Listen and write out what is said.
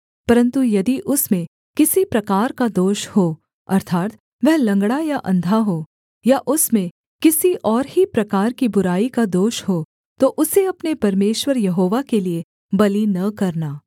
परन्तु यदि उसमें किसी प्रकार का दोष हो अर्थात् वह लँगड़ा या अंधा हो या उसमें किसी और ही प्रकार की बुराई का दोष हो तो उसे अपने परमेश्वर यहोवा के लिये बलि न करना